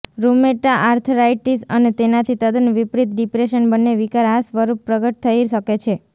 rheumatoid arthritis અને તેનાથી તદ્દન વિપરીત ડિપ્રેશન બંને વિકાર આ સ્વરૂપ પ્રગટ થઈ શકે છે